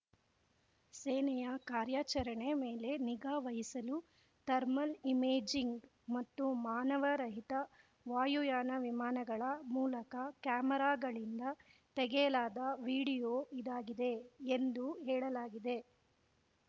ಸೇನೆಯ ಕಾರ್ಯಾಚರಣೆ ಮೇಲೆ ನಿಗಾ ವಹಿಸಲು ಥರ್ಮಲ್‌ ಇಮೇಜಿಂಗ್‌ ಮತ್ತು ಮಾನವ ರಹಿತ ವಾಯುಯಾನ ವಿಮಾನಗಳ ಮೂಲಕ ಕ್ಯಾಮೆರಾಗಳಿಂದ ತೆಗೆಯಲಾದ ವಿಡಿಯೋ ಇದಾಗಿದೆ ಎಂದು ಹೇಳಲಾಗಿದೆ